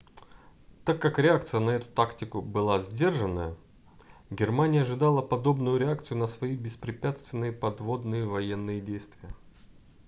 так как реакция на эту тактику была сдержанная германия ожидала подобную реакцию на свои беспрепятственные подводные военные действия